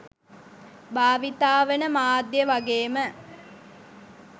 භාවිතා වන මාධ්‍ය වගේම